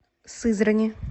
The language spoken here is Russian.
сызрани